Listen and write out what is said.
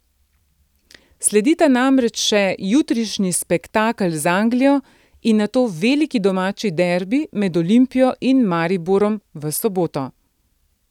Sledita namreč še jutrišnji spektakel z Anglijo in nato veliki domači derbi med Olimpijo in Mariborom v soboto.